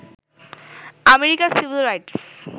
আমেরিকার civil rights